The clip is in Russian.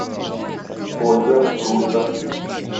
ольга рулька